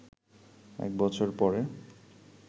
এক বছর পরে